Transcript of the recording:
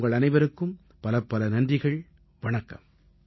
உங்கள் அனைவருக்கும் பலப்பல நன்றிகள் வணக்கம்